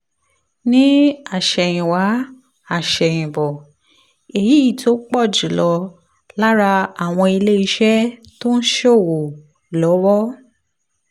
ní àsẹ̀yìnwá àsẹ̀yìnbọ̀ èyí tó pọ̀ jù lọ lára àwọn ilé iṣẹ́ tó ń ṣòwò lọ́wọ́